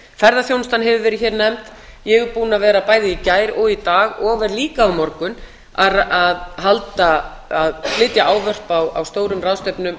ferðaþjónustan hefur verið hér nefnd ég er búin að vera bæði í dag og í gær og verð líka á morgun að flytja ávörp á stórum ráðstefnum